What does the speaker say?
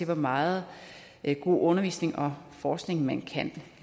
hvor meget god undervisning og forskning man kan